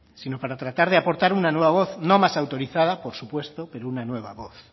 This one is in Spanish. sino para tratar de aportar una nueva voz no más autorizada por supuesto pero una nueva voz